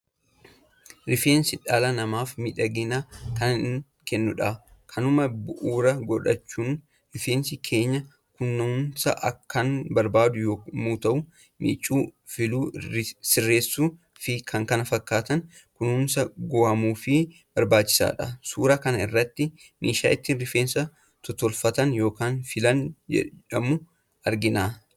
Rifeensi dhala namaaf miidhagina kan kennudha. Kanuma bu'uura godhachuun rifeensi keenya kunuunsaa kan barbaadu yommuu ta'u, miicuu, filuu, sirreessuu fi kan kana fakkaataniin kunuunsa govhuufiin barbaachisaadha. Suura kana irratti meeshaa ittiin rifeensa tottolfatan kan Filaa jedhamu argina.